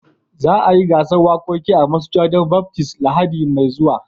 Za a yi gasan wakoki a masujadan Baptism labari mai zuwa.